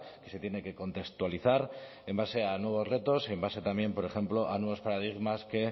que se tiene que contextualizar en base a nuevos retos en base también por ejemplo a nuevos paradigmas que